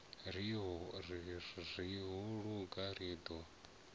ri ho luga ri ḓo